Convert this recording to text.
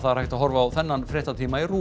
hægt er að horfa á þennan fréttatíma í RÚV